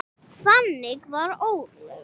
Þannig var Ólöf.